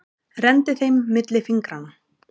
Renndi þeim milli fingranna.